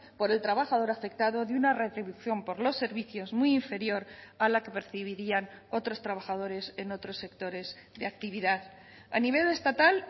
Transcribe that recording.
por el trabajador afectado de una retribución por los servicios muy inferior a la que percibirían otros trabajadores en otros sectores de actividad a nivel estatal